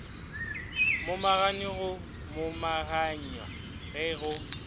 momagane go momaganywa ge go